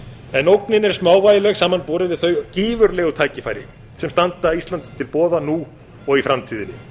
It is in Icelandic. en ógnin er smávægileg samanborið við þau gífurlegu tækifæri sem standa íslandi til boða nú og í framtíðinni